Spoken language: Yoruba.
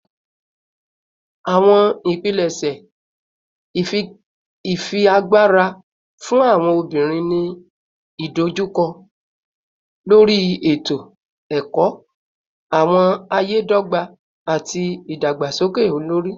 Awọn ipilẹṣẹ ifiagbara fun awọn obinrin ni idojukọ lori eto-ẹkọ, awọn aye dogba, ati idagbasoke olori